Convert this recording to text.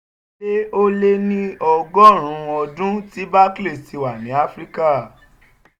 ó lé ó lé ní ọgọ́rùn-ún ọdún tí barclays ti wà ní áfíríkà.